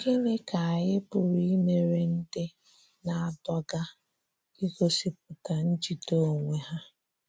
Gịnị ka anyị pụrụ imere ndị na - adọga igosipụta njide onwe ha?